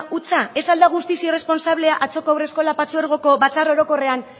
hutsa ez al da guztiz irresponsablea atzoko haurreskolak partzuergoko batzar orokorrean